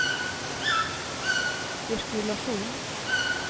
sirkulasjon